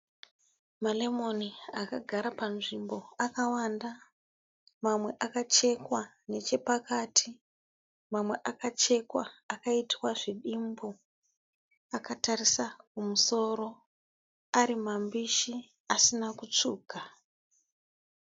Ma(lemon) akagara panzvimbo akawanda mamwe akachetwa nechepakati, mamwe akachetwa akaitwa zvidimbu akatarisa kumusoro arimambishi asina kutsvuka.